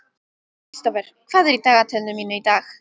Kristófer, hvað er í dagatalinu mínu í dag?